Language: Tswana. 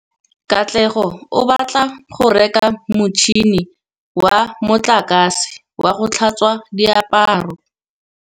Katlego o batla go reka motšhine wa motlakase wa go tlhatswa diaparo.